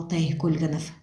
алтай көлгінов